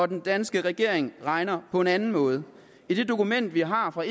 den danske regering regner på en anden måde i det dokument vi har fra